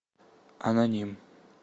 аноним